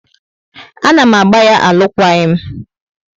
A na m agba ya alukwaghi m